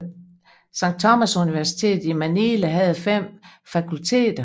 Sankt Thomasuniversitetet i Manila havde fem fakulteter